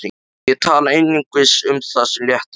Og ég tala einungis um það sem léttir á mér.